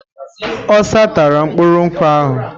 Osa tara mkpụrụ nkwụ ahụ.